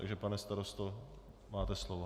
Takže, pane starosto, máte slovo.